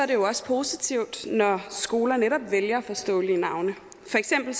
det jo også positivt når skoler netop vælger forståelige navne for eksempel